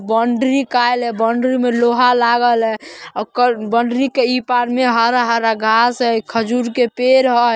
Boundary कायल है। Boundary में लोहा लागल है और कर बाउंड्री के ई पार में हरा-हरा घास है एक खजूर के पेड़ है।